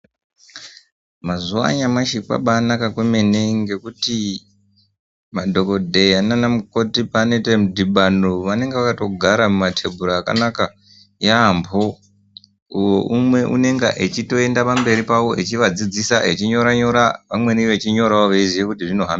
Mazuva anyamashi kwabainaka kwemene ngekuti madhongodheya nanamukoti pavanoita mudhibano ,vanonga vakatogara mumatembura akanaka yabhoo umwe anonga achitoenda pamberi pavo achivadzidzisa achinyora nyora amweni vamweni vechinyorawo vechiziva zvinohamba seii.